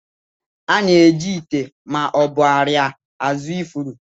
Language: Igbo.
A na-eji ite ma ọ bụ arịa azụ ifuru.